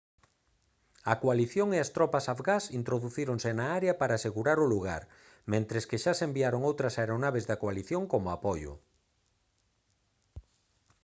a coalición e a as tropas afgás introducíronse na área para asegurar o lugar mentres que xa se enviaron outras aeronaves da coalición como apoio